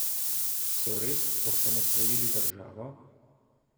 So res osamosvojili državo?